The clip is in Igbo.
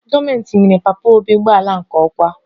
Gọọmentị nyere papa obi ụgbọala nke okwa